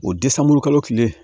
O kalo tile